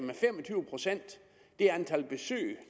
det antal besøg